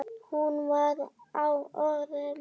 Hún var á öðru máli.